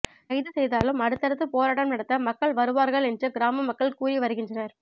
கைது செய்தாலும் அடுத்தடுத்து போராட்டம் நடத்த மக்கள் வருவார்கள் என்று கிராம மக்கள் கூறி வருகின்றனர்